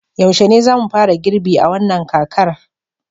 yaushe ne za mu fara girbi a wannan kakar